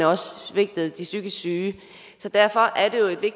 også svigtede de psykisk syge så derfor er